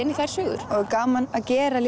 inn í þær sögur gaman að gera